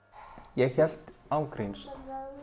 ég hélt án gríns að